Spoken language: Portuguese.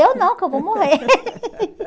Eu não, que eu vou morrer.